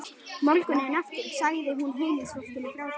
Morguninn eftir sagði hún heimilisfólkinu frá þessu.